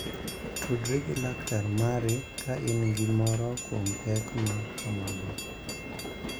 Tudri gi laktar mari ka in gi moro kuom pek ma kamago.